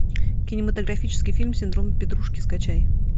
кинематографический фильм синдром петрушки скачай